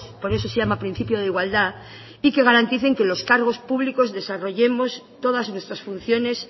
por eso se llama principio de igualdad y que garanticen que los cargos públicos desarrollemos todas nuestras funciones